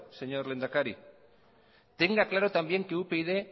señor lehendakari tenga claro también que upyd